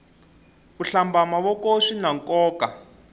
ku hlamba mavoko swinankoka